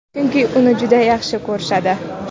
chunki uni juda yaxshi ko‘rishadi.